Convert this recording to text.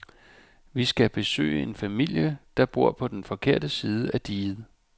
Vi skal besøge en familie, der bor på den forkerte side af diget.